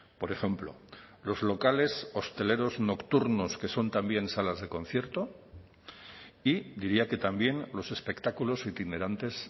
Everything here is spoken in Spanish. por ejemplo los locales hosteleros nocturnos que son también salas de concierto y diría que también los espectáculos itinerantes